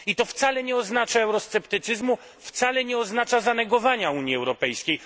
I to wcale nie oznacza eurosceptycyzmu, wcale nie oznacza zanegowania Unii Europejskiej.